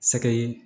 Sɛgɛ ye